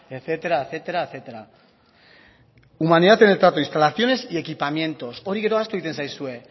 etcétera etcétera etcétera humanidad en el trato instalaciones y equipamientos hori gero ahaztu egiten zaizue